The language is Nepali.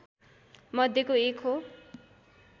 मध्येको एक हो